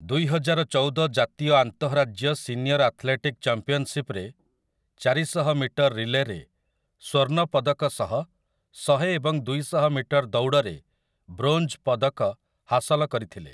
ଦୁଇହଜାରଚଉଦ ଜାତୀୟ ଆନ୍ତଃରାଜ୍ୟ senior athletic ଚମ୍ପିଅନ୍‌ସିପ୍‌ରେ ଚାରିଶହ ମିଟର ରିଲେରେ ସ୍ୱର୍ଣ୍ଣ ପଦକ ସହ ଶହେ ଏବଂ ଦୁଇଶହ ମିଟର ଦୌଡ଼ରେ ବ୍ରୋଞ୍ଜ୍ ପଦକ ହାସଲ କରିଥିଲେ ।